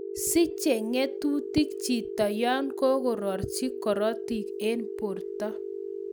Siche ng'etutik chito yon kororchi korotik en borto